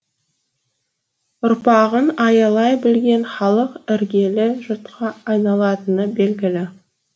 ұрпағын аялай білген халық іргелі жұртқа айналатыны белгілі